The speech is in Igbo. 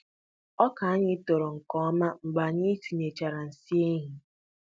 Ọka anyị toro nke ọma mgbe anyị tinyechara nsị ehi.